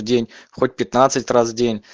день хоть пятнадцать раз в день